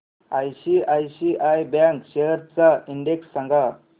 ICICI bank shares चा index सांगा